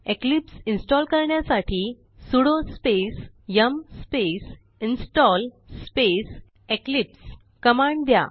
Eclipse install करण्यासाठी sudo space yum space install space eclipse command द्या